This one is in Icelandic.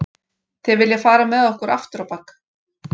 Þeir vilja fara með okkur afturábak